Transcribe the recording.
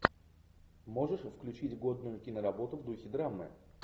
можешь включить годную киноработу в духе драмы